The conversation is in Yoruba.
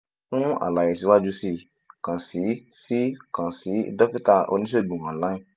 fun alaye siwaju sii kan si sii kan si dokita onisegun online